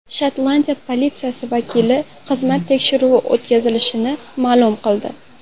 Shotlandiya politsiyasi vakili xizmat tekshiruvi o‘tkazilishini ma’lum qildi.